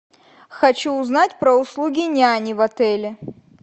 хочу узнать про услуги няни в отеле